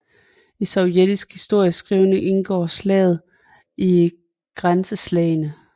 I sovjetisk historieskrivning indgår slaget i Grænseslagene